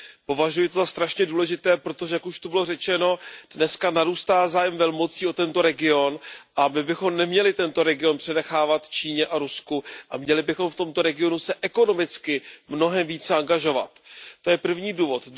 Považuji to za velmi důležité, protože jak už tady bylo řečeno, dnes narůstá zájem velmocí o tento region a my bychom neměli tento region přenechávat Číně a Rusku a měli bychom se v tomto regionu ekonomicky mnohem více angažovat. To je první důvod.